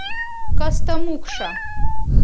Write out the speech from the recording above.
костомукша